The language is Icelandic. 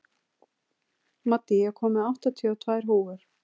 Maddý, ég kom með áttatíu og tvær húfur!